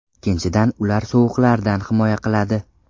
Ikkinchidan, ular sovuqlardan himoya qiladi.